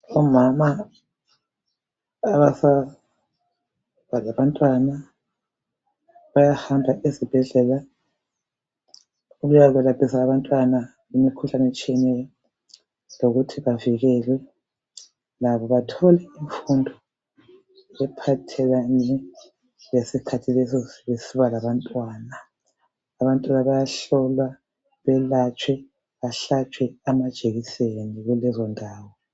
Omama abasanda ukuba labantwana bayahamba ezibhedlela ukuyelaphisa abantwana kumikhuhlane etshiyeneyo lokuthi bavikelwe labo bathole imfundo ephathelane lesikhathi leso besiba labantwana. Abantwana bayahlolwa bahlatshwe amajekiseni kulezondawo.